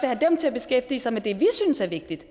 have dem til at beskæftige sig med det som vi synes er vigtigt